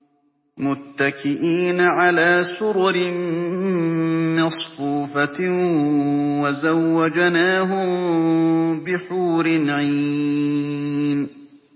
مُتَّكِئِينَ عَلَىٰ سُرُرٍ مَّصْفُوفَةٍ ۖ وَزَوَّجْنَاهُم بِحُورٍ عِينٍ